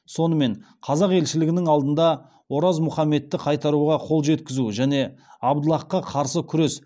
сонымен қазақ елшілігінің алдында ораз мұхаммедті қайтаруға қол жеткізу және абдаллахқа қарсы күресте